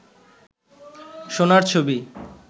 সোনার ছবি